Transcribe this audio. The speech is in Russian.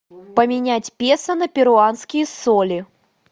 поменять песо на перуанские соли